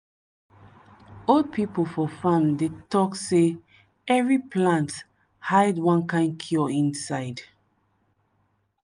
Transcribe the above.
old people for farm dey talk say every plant hide one kind cure inside.